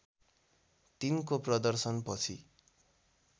३ को प्रदर्शनपछि